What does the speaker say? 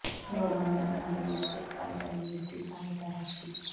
ਲੋੜਵੰਦਾ ਦੀ ਮਦਦ ਲਈ ਸਿੱਖ ਭਾਈਚਾਰੇ ਨੇ ਦਿੱਤੀ ਸਹਾਇਤਾ ਰਾਸ਼ੀ